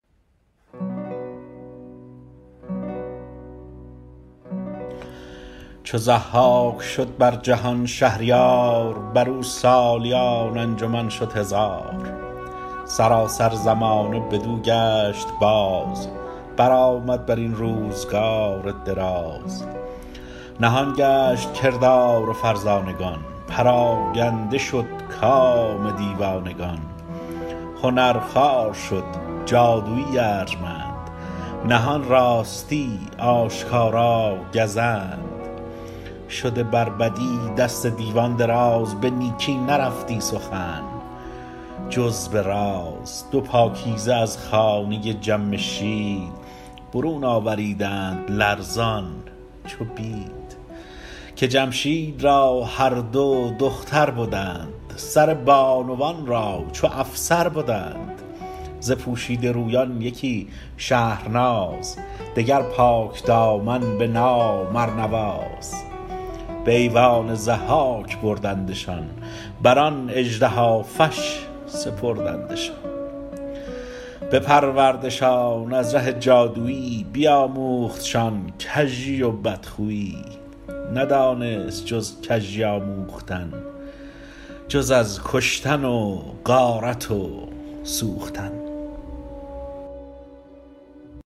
چو ضحاک شد بر جهان شهریار بر او سالیان انجمن شد هزار سراسر زمانه بدو گشت باز برآمد بر این روزگار دراز نهان گشت کردار فرزانگان پراگنده شد کام دیوانگان هنر خوار شد جادویی ارجمند نهان راستی آشکارا گزند شده بر بدی دست دیوان دراز به نیکی نرفتی سخن جز به راز دو پاکیزه از خانه جمشید برون آوریدند لرزان چو بید که جمشید را هر دو دختر بدند سر بانوان را چو افسر بدند ز پوشیده رویان یکی شهرناز دگر پاکدامن به نام ارنواز به ایوان ضحاک بردندشان بر آن اژدهافش سپردندشان بپروردشان از ره جادویی بیاموختشان کژی و بدخویی ندانست جز کژی آموختن جز از کشتن و غارت و سوختن